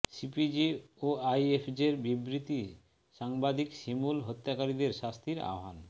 CPJ ও আইএফজের বিবৃতি সাংবাদিক শিমুল হত্যাকারীদের শাস্তির আহ্বান